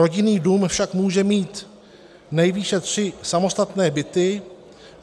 Rodinný dům však může mít nejvýše tři samostatné byty.